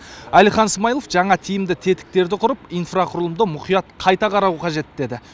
әлихан смайылов жаңа тиімді тетіктерді құрып инфрақұрылымды мұқият қайта қарау қажет деді